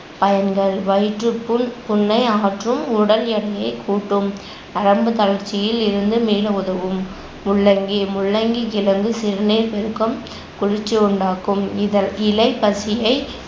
பயன்கள் வயிற்றுப்புண், புண்ணை அகற்றும், உடல் எடையைக் கூட்டும், நரம்பு தளர்ச்சியில் இருந்து மீள உதவும். முள்ளங்கி முள்ளங்கி கிழங்கு சிறுநீர் பெருக்கம், குளிர்ச்சி உண்டாக்கும். இதன் இலை பசியை